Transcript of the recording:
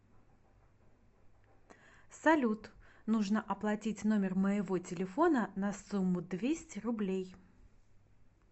салют нужно оплатить номер моего телефона на сумму двести рублей